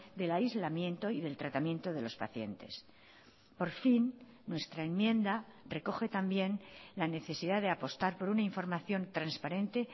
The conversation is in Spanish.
del aislamiento y del tratamiento de los pacientes por fin nuestra enmienda recoge también la necesidad de apostar por una información transparente